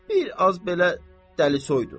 Bir az belə dəlisoydur.